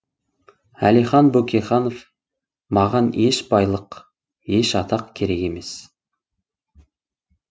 әлихан бөкейханов маған еш байлық еш атақ керек емес